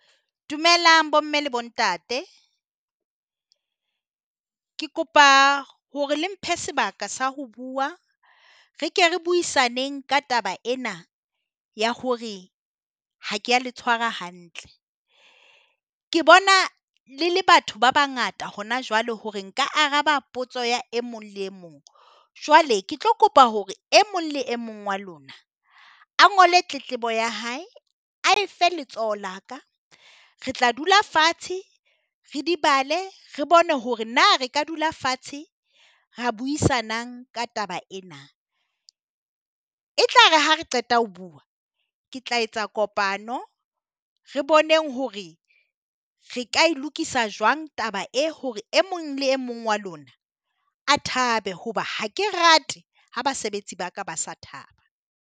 Dumelang bomme le bontate, ke kopa hore le mphe sebaka sa ho bua re ke re buisaneng ka taba ena ya hore ha kea le tshwara hantle. Ke bona le le batho ba bangata hona jwale hore nka araba potso ya e mong le e mong, jwale ke tlo kopa hore e mong le e mong wa lona a ngole tletlebo ya hae a efe letsoho la ka, re tla dula fatshe re di bale, re bone hore na re ka dula fatshe ra buisanang ka taba ena. E tla re ha re qeta ho bua ke tla etsa kopano, re boneng hore re ka e lokisa jwang taba e hore e mong le e mong wa lona a thabe, hoba ha ke rate ha basebetsi ba ka ba sa thaba.